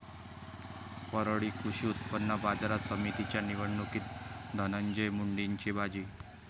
परळी कृषी उत्पन्न बाजार समितीच्या निवडणुकीत धनंजय मुंडेंची बाजी